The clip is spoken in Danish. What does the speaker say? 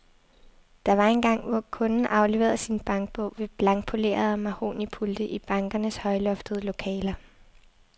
Der var engang, hvor kunden afleverede sin bankbog ved blankpolerede mahognipulte i bankernes højloftede lokaler.